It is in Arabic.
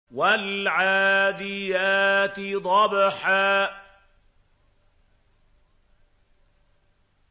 وَالْعَادِيَاتِ ضَبْحًا